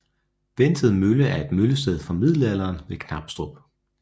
Vented Mølle er et møllested fra middelalderen ved Knabstrup